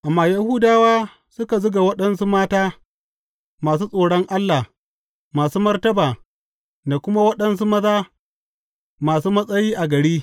Amma Yahudawa suka zuga waɗansu mata masu tsoron Allah masu martaba da kuma waɗansu maza masu matsayi a gari.